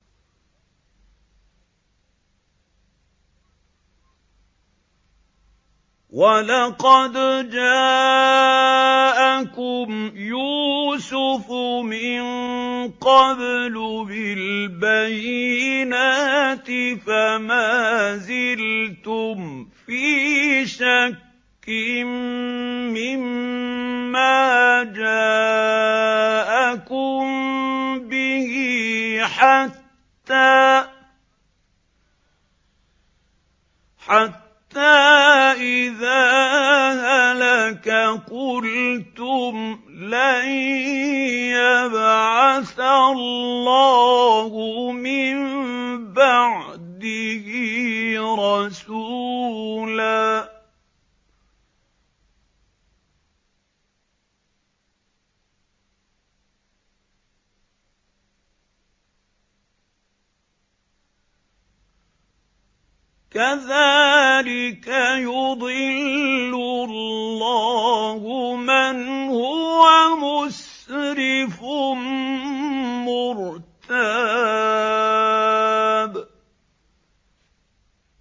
وَلَقَدْ جَاءَكُمْ يُوسُفُ مِن قَبْلُ بِالْبَيِّنَاتِ فَمَا زِلْتُمْ فِي شَكٍّ مِّمَّا جَاءَكُم بِهِ ۖ حَتَّىٰ إِذَا هَلَكَ قُلْتُمْ لَن يَبْعَثَ اللَّهُ مِن بَعْدِهِ رَسُولًا ۚ كَذَٰلِكَ يُضِلُّ اللَّهُ مَنْ هُوَ مُسْرِفٌ مُّرْتَابٌ